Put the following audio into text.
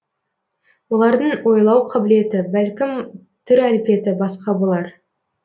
олардың ойлау қабілеті бәлкім түр әлпеті басқа болар